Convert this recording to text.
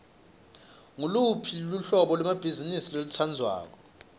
nguluphi luhlobo lwebhizimisi lolutsandzako